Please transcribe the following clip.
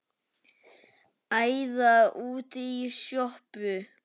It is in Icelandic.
Æða út í sjoppu!